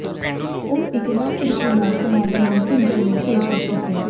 ਉਹ ਇੱਕ ਨਵ ਤਰੀਕੇ ਨਾਲ ਸਮਾਗਮ ਨੂੰ ਸਮਝਣ ਲਈ ਪੇਸ਼ਕਸ਼ ਕੀਤੀ